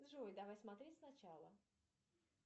джой давай смотреть сначала